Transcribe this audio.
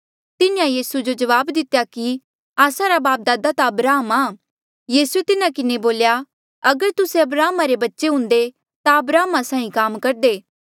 तिन्हें यीसू जो जवाब दितेया कि आस्सा रा बापदादा ता अब्राहम आ यीसूए तिन्हा किन्हें बोल्या अगर तुस्से अब्राहमा री बच्चे हुंदे ता अब्राहमा साहीं काम करदे